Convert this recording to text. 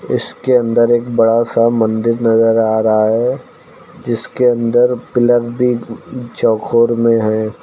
इसके अंदर एक बड़ा सा मंदिर नजर आ रहा है जिसके अंदर पिलर भी चौखोर में है।